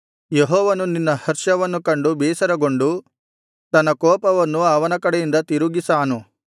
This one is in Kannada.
ಯೆಹೋವನು ನಿನ್ನ ಹರ್ಷವನ್ನು ಕಂಡು ಬೇಸರಗೊಂಡು ತನ್ನ ಕೋಪವನ್ನು ಅವನ ಕಡೆಯಿಂದ ತಿರುಗಿಸಾನು